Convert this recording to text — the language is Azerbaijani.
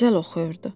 Gözəl oxuyurdu.